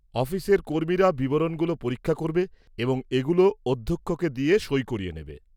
অফিসের কর্মীরা বিবরণগুলো পরীক্ষা করবে এবং এগুলো অধ্যক্ষকে দিয়ে সই করিয়ে নেবে।